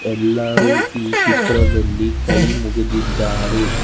ಎಲ್ಲಾರು ಈ ಚಿತ್ರದಲ್ಲಿ ಕೈ ಮುಗದಿದ್ದಾರೆ.